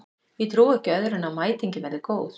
Ég trúi ekki öðru en að mætingin verði góð.